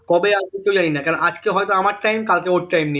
কবে আসবে কেউ জানি না কেন আজকে হয়তো আমার time কালকে ওর time নেই